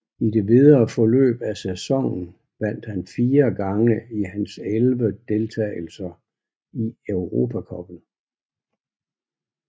I det videre forløb af sæsonen vandt han fire gange i hans elleve deltagelser i Europa Cuppen